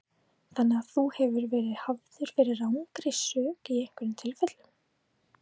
Þóra: Þannig að þú hefur verið hafður fyrir rangri sök í einhverjum tilfellum?